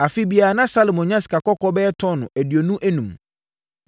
Afe biara, na Salomo nya sikakɔkɔɔ bɛyɛ tɔno aduonu enum.